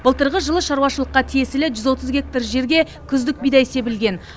былтырғы жылы шаруашылыққа тиесілі жүз отыз гектар жерге күздік бидай себілген